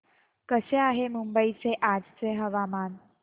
कसे आहे मुंबई चे आजचे हवामान